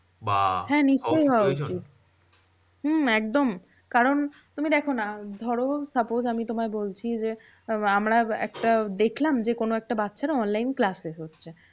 হ্যাঁ নিশ্চই হওয়া উচিত হম একদম। কারণ তুমি দেখো না ধরো suppose আমি তোমায় বলছি যে, আমরা একটা দেখলাম যে কোনো একটা বাচ্চারা online class শেষ হচ্ছে।